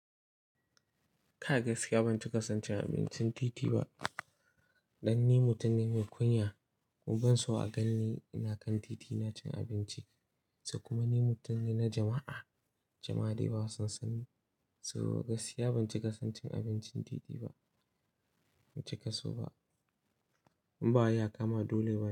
Ka gaskiya ban cikason abincin titi ba. Dan ni mutum ne mai kunya, kuma ban so a ganni ina kan titi ina cin abinci. Kuma ni mutum ne na jama'a, jama'a dai ba su san ni. To gaskiya ban ci kasancin abincin titi ba, ban ci kaso ba. In ba ya kama dole ba ne.